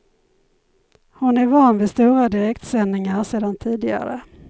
Hon är van vid stora direktsändningar sedan tidigare.